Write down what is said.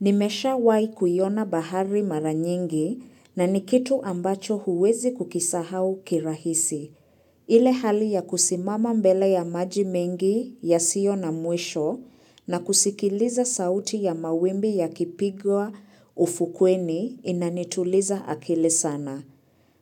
Nimeshawai kuiona bahari mara nyingi na ni kitu ambacho huwezi kukisahau kirahisi. Ile hali ya kusimama mbele ya maji mengi yasio na mwisho na kusikiliza sauti ya mawimbi yakipigwa ufukweni inanituliza akili sana.